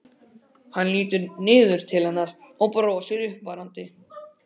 Hann lítur niður til hennar og brosir uppörvandi.